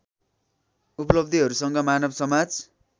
उपलब्धिहरूसँग मानव समाज